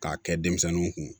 K'a kɛ denmisɛnninw kun